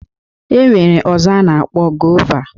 E nwere ọzọ a na-akpọ gova